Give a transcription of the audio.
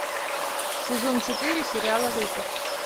сезон четыре сериала лютер